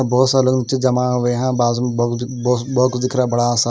बहुत सारे लोग नीचे जमा हुए हैं बहुत कुछ दिख रहा बड़ा सा।